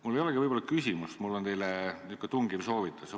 Mul ei olegi küsimust, mul on teile selline tungiv soovitus.